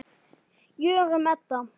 Jórunn Edda.